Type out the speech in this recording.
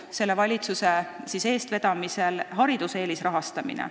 Selle valitsuse eestvedamisel jätkub hariduse eelisrahastamine.